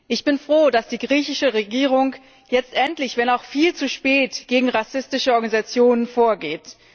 Ich bin froh, dass die griechische Regierung jetzt endlich wenn auch viel zu spät gegen rassistische Organisationen vorgeht.